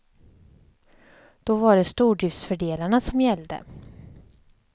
Då var det stordriftsfördelarna som gällde.